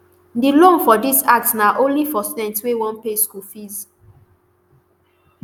di loan for dis act na only for students wey wan pay school fees